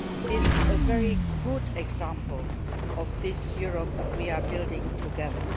is a very good example of this Europe we are building together.